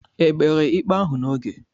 Ekpere ikpe ahụ n'oge?